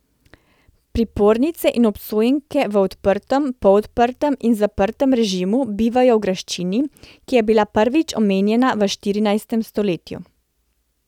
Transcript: Pripornice in obsojenke v odprtem, polodprtem in zaprtem režimu bivajo v graščini, ki je bila prvič omenjena v štirinajstem stoletju.